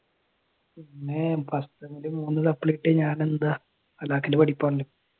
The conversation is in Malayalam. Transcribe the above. പിന്നെ first സെമ്മില് മൂന്ന് supply കിട്ടിയ ഞാനൊക്കെ എന്താ ഹലാക്കിലെ പഠിപ്പാണ്.